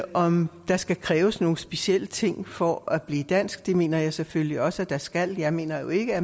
om der skal kræves nogle specielle ting for at blive dansk det mener jeg selvfølgelig også at der skal jeg mener jo ikke at